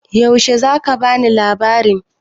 Yaushe za ka ba ni labarin?